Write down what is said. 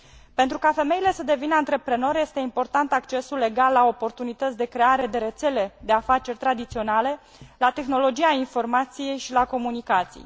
Pentru ca femeile să devină antreprenori, este important accesul egal la oportunități de creare de rețele de afaceri tradiționale, la tehnologia informației și la comunicații.